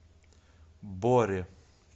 боре